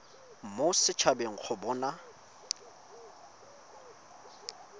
mo set habeng go bona